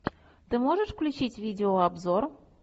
ты можешь включить видеообзор